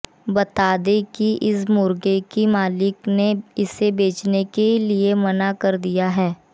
बतादें की इस मुर्गे की मालिक ने इसे बेचने के लिए मना कर दिया है